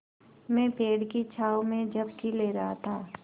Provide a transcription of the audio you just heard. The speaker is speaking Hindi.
मैं पेड़ की छाँव में झपकी ले रहा था